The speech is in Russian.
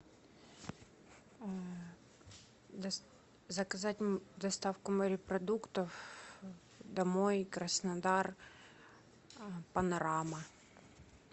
заказать доставку морепродуктов домой краснодар панорама